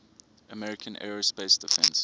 american aerospace defense